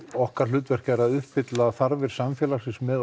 okkar hlutverk er að uppfylla þarfir samfélagsins með